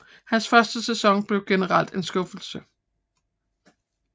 Hans første sæson blev generelt en skuffelse